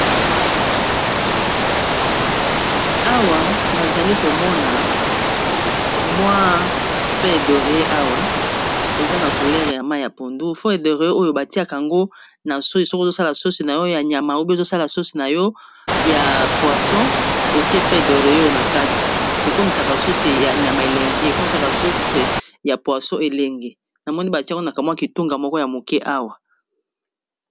Awa nazali komona mwa felle de lorier awa eza na couleur ya mai ya pondu felle delorier oyo batiaka ango na sauce ya nyama oubien ekosala pe sauce ya Poisson na kati ekomisaka sauce ya nyama elenge ekomisaka yango elengei batiaka yango nakati mwa kitunga moko ya moke awa